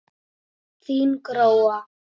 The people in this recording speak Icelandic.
Þín Gróa.